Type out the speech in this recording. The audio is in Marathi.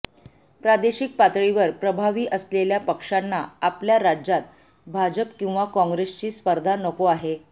प्रादेशिक पातळीवर प्रभावी असलेल्या पक्षांना आपल्या राज्यात भाजप किंवा कॉंग्रेसची स्पर्धा नको आहे